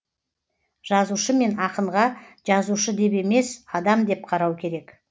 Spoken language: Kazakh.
жазушы мен ақынға жазушы деп емес адам деп қарау керек